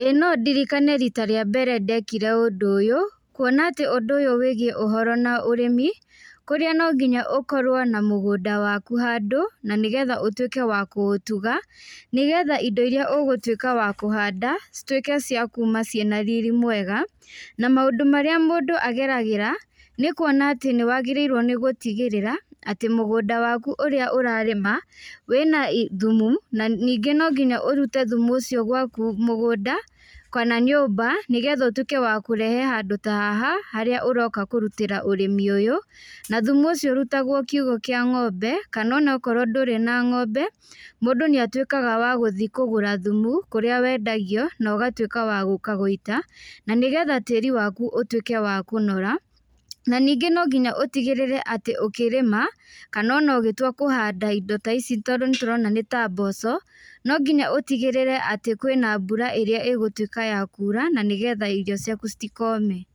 Ĩĩ nondirikane rita rĩa mbere ndekire ũndũ ũyũ, kuona atĩ ũndũ ũyũ wĩgiĩ ũhoro na ũrĩmi, kũrĩa nonginya ũkorwo na mũgũnda waku handũ, na nĩgetha ũtuĩke wa kũutuga, nĩgetha indo iria ũgũtuĩka wa kũhanda, cituĩke cia kuma ciĩna riri mwega, na maũndũ marĩa mũndũ ageragĩra, nĩkuona atĩ nĩwagĩrĩirwo nĩ gũtigĩrĩra, atĩ mũgũnda waku ũrĩa ũrĩma, wĩna i thumu, na ningĩ nonginya ũrute thumu ũcio gwaku mũgũnda, kana nyũmba nĩgetha ũtuĩke wa kũrehe handũ ta haha, harĩa ũroka kũrutĩra ũrĩmi ũyũ, na thumu ũcio ũrutagwo kiũgũ kia ngombe, kana onakorwo ndũrĩ na ngombe, mũndũ nĩatuĩkaga wa gũthi kũgũra thumu, kũrĩa wendagio, na ũgatuĩka wa gũka gũita, na nĩgetha tĩri waku ũtuĩke wa kũnora, na ningĩ nonginya utigĩrĩre atĩ ũkĩrĩma, kana ona ũgĩtua kũhanda indo ta ici tondũ nĩtũrona nĩta mboco, nonginya ũtigĩrĩre atĩ kwĩna mbura ĩrĩa ĩgũtuĩka ya kũra, na nĩgetha irio ciaku citikome.